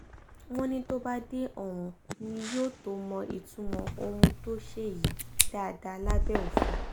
wọ́n ní tó bá dé ọ̀hún ni yóò tóó mọ ìtumọ̀ ohun tó ṣe yìí dáadáa lábẹ́ òfin